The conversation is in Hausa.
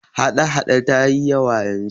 hada- hada ta yi yawa yanzu